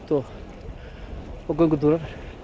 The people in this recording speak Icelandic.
sjósund og göngutúrar